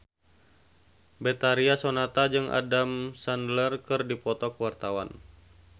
Betharia Sonata jeung Adam Sandler keur dipoto ku wartawan